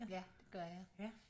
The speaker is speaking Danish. Ja det gør jeg